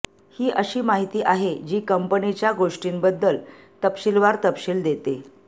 ही अशी माहिती आहे जी कंपनीच्या गोष्टींबद्दल तपशीलवार तपशील देते